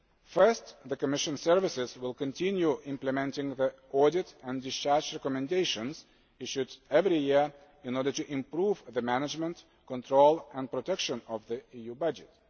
there. Firstly, the Commission services will continue implementing the audit and discharge recommendations issued every year in order to improve the management, control and protection of the EU